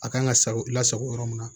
A kan ka sa la sago yɔrɔ min na